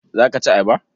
Za ka ci ayaba?